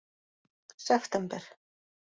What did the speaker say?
september